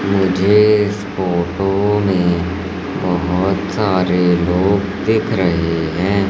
मुझे इस फोटो में बहोत सारे लोग दिख रहे हैं।